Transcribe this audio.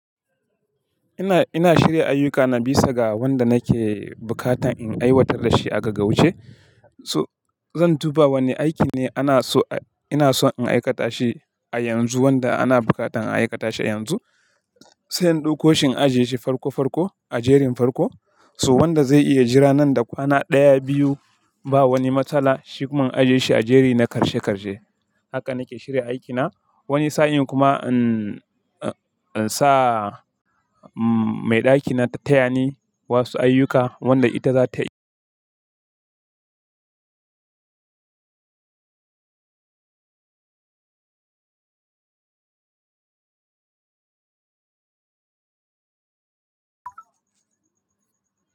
Ina, ina shirya ayyukana bisa ga wanda nake bukatan in aiwatar da shi a gaggauce. So zan duba wanne aiki ne ana so ina so in aikata shi a yanzu wanda ana bukatan a aikata shi a yanzu. Sai in ɗauko shi in ajiye shi farko farko a jerin farko. So wanda zai iya jira nan da kwana ɗaya, biyu ba wani matsala shi kuma in ajiye shi a jeri na karshe karshe. Haka nake shirya aikina. Wani sa'in kuma in, in sa mai ɗakina ta tayani wasu ayyuka wanda ita za ta yi.